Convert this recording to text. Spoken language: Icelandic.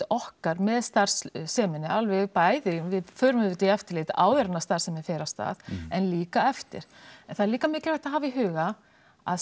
okkar með starfseminni alveg bæði við förum auðvitað í eftirlit áður en starfsemin fer af stað en líka eftir en það er líka mikilvægt að hafa í huga að